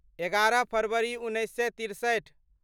एगारह फरवरी उन्नैस सए तिरसठि